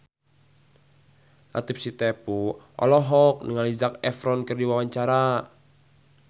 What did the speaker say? Latief Sitepu olohok ningali Zac Efron keur diwawancara